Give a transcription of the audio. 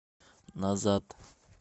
назад